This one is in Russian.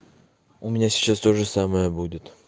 у меня сейчас тоже самое будет